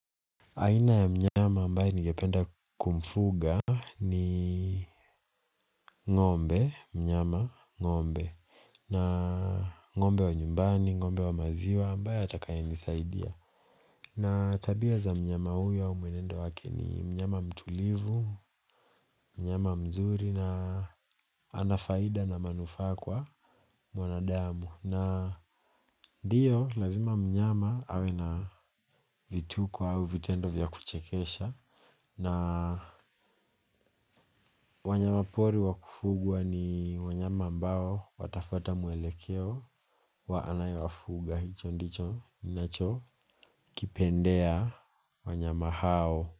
Aina ya mnyama ambaye ningependa kumfuga ni ngombe, mnyama, ngombe na ngombe wa nyumbani, ngombe wa maziwa ambaye atakayenisaidia. Na tabia za mnyama huyo mwenendo wake ni mnyama mtulivu, mnyama mzuri na ana faida na manufaa kwa mwanadamu. Na ndiyo lazima mnyama awe na vituko au vitendo vya kuchekesha. Na wanyama pori wakufugwa ni wanyama ambao watafuata mwelekeo wa anayewafuga. Hicho ndicho ninachokipendea wanyama hao.